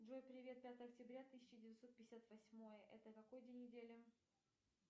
джой привет пятое октября тысяча девятьсот пятьдесят восьмой это какой день недели